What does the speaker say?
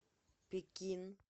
пекин